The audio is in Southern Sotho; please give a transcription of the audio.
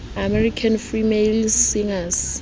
american female singers